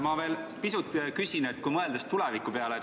Ma veel pisut küsin, mõeldes tuleviku peale.